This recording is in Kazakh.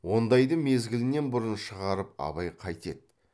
ондайды мезгілінен бұрын шығарып абай қайтеді